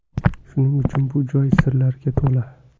Shuning uchun bu joy sirlarga to‘la.